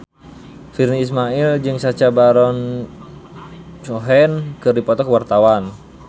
Virnie Ismail jeung Sacha Baron Cohen keur dipoto ku wartawan